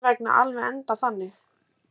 Má mín vegna alveg enda þannig.